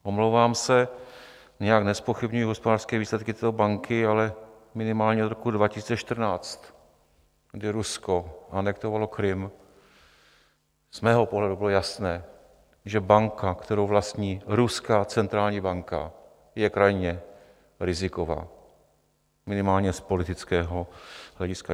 Omlouvám se, nijak nezpochybňuji hospodářské výsledky této banky, ale minimálně od roku 2014, kdy Rusko anektovalo Krym, z mého pohledu bylo jasné, že banka, kterou vlastní Ruská centrální banka, je krajně riziková, minimálně z politického hlediska.